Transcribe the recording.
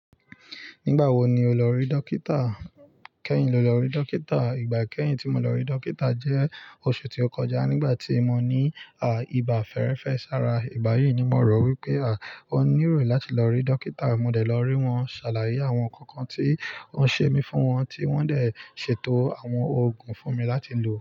Nígbà wo ni o lọ rí dókítà? Kẹ́hin lo lọ rí dókítà. Ìgbà kẹ́hin tí mo lọ rí dókítà jẹ́ oṣù tí ó kọjá nígbà tí mo ní à ìbà fẹ́rẹ́fẹ́ sára. Ìgbà yíì ni mo rò wípé à ó níròyìn láti lọ rí dókítà. Mo dẹ̀ lọ rí wọn, ṣàlàyé àwọn ǹkan kan tí oun ṣe mi fún wọn tí wọ́n dẹ̀ ṣètò àwọn oògùn fún mi láti lò.